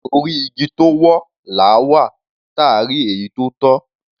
Orí igi tó wọ́, làá wà, táà rí èyí tó tọ́.